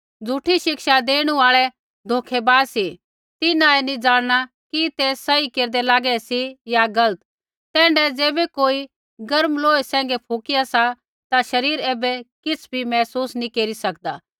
झ़ूठी शिक्षा देणु आल़ै धोखै बाज सी तिन्हां ऐ नी ज़ाणना कि ते सही केरदै लागै सी या गलत तैण्ढाऐ ज़ैबै कोई गर्म लोहै सैंघै फुकिया सा ता शरीर ऐबै किछ़ भी महसूस नैंई केरी सकदा